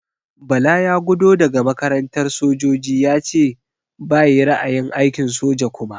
Bala ya gudo daga makarantar sojoji yace bayi ra'ayin aikin soja kuma.